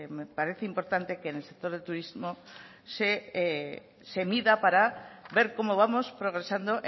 me parece importante que en el sector de turismo se mida para ver cómo vamos progresando